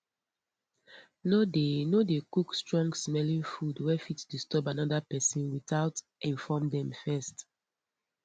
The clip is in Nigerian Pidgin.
no dey no dey cook strongsmelling food wey fit disturb another person without inform them first